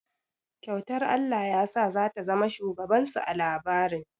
Kyautar Allah yasa za ta zama shugaban su a labarin.